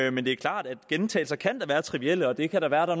er men det er klart at gentagelser kan være trivielle og det kan da være